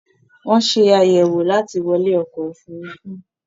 wón ṣe àyẹ̀wò láti wọlé ọkọ ofurufu.